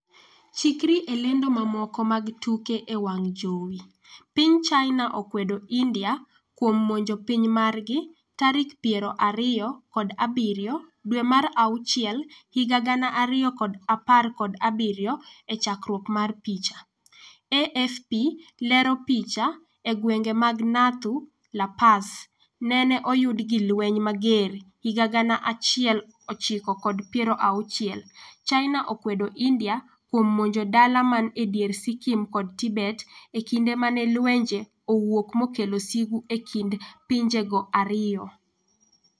chikri e lendo mamoko mag tuke e wang' jowi, piny China okwedo India kuom monjo piny margi tarik piero ariyo kod abiriyo dwe mar auchiel higa gana ariyo kod apar kod abiriyo e chakruok mar picha, AFP lero picha,e gwenge mag Nathu la Pass neneoyud gi lweny mager higa gana achiel ochiko kod piero auchiel ,China okwedo India kuom monjo dala man e dier Sikkim kod Tibet e kinde mane lwenje owuok mokelo sigu e kind pinjego ariyo.